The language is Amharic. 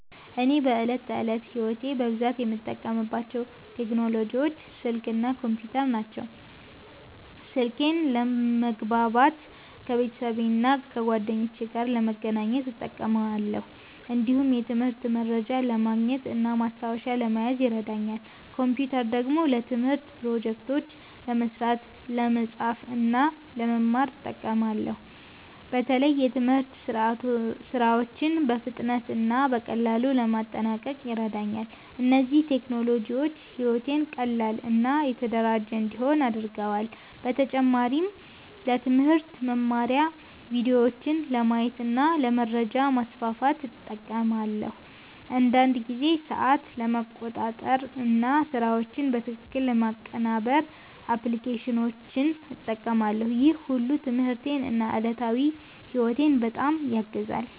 እኔ በዕለት ተዕለት ሕይወቴ በብዛት የምጠቀምባቸው ቴክኖሎጂዎች ስልክ እና ኮምፒውተር ናቸው። ስልኬን ለመግባባት ከቤተሰብና ከጓደኞቼ ጋር ለመገናኘት እጠቀማለሁ። እንዲሁም የትምህርት መረጃ ለማግኘት እና ማስታወሻ ለመያዝ ይረዳኛል። ኮምፒውተር ደግሞ ለትምህርት ፕሮጀክቶች ለመስራት፣ ለመጻፍ እና ለመማር እጠቀማለሁ። በተለይ የትምህርት ሥራዎችን በፍጥነት እና በቀላሉ ለማጠናቀቅ ይረዳኛል። እነዚህ ቴክኖሎጂዎች ሕይወቴን ቀላል እና የተደራጀ እንዲሆን አድርገዋል። በተጨማሪም ለትምህርት መማሪያ ቪዲዮዎችን ለማየት እና ለመረጃ ማስፋፋት እጠቀማለሁ። አንዳንድ ጊዜ ሰዓት ለመቆጣጠር እና ስራዎችን በትክክል ለማቀናበር አፕሊኬሽኖችን እጠቀማለሁ። ይህ ሁሉ ትምህርቴን እና ዕለታዊ ሕይወቴን በጣም ያግዛል።